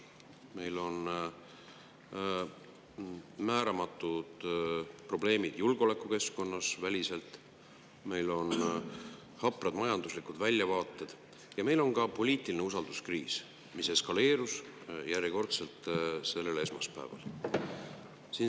Meil on määramatud välised probleemid julgeolekukeskkonnas, meil on haprad majanduslikud väljavaated ja meil on ka poliitiline usalduskriis, mis eskaleerus järjekordselt sellel esmaspäeval.